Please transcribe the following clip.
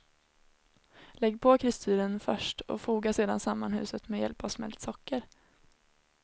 Lägg på kristyren först, och foga sedan samman huset med hjälp av smält socker.